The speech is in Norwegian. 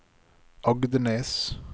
Agdenes